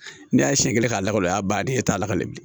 Ne y'a siɲɛ kelen k'a lakoo a y'a ban den e t'a lakale bilen